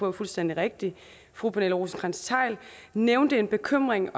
er fuldstændig rigtigt fru pernille rosenkrantz theil nævnte en bekymring